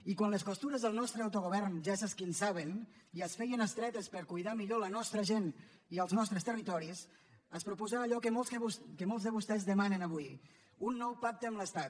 i quan les costures del nostre autogovern ja s’esquinçaven i es feien estretes per cuidar millor la nostra gent i els nostres territoris es proposà allò que molts de vostès demanen avui un nou pacte amb l’estat